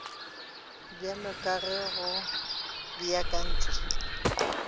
bjalo ka ge go beakantšwe